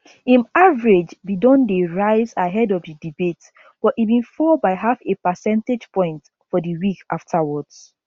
im average bin don dey rise ahead of di debate but e bin fall by half a percentage point for di week afterwards